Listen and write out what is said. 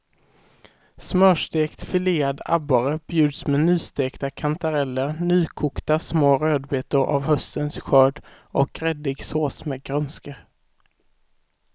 Smörstekt filead abborre bjuds med nystekta kantareller, nykokta små rödbetor av höstens skörd och gräddig sås med grönska.